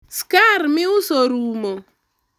skar miuso orumo